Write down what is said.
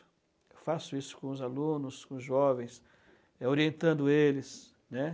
Eu faço isso com os alunos, com os jovens, é orientando eles, né?